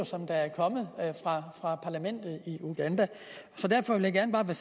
som er kommet fra parlamentet i uganda så derfor ville jeg bare